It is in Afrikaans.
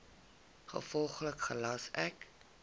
gevolglik gelas ek